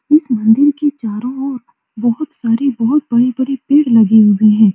इस मंदिर के चारों ओर बहुत सारे बहुत बड़े-बड़े पेड़ लगे हुए हैं।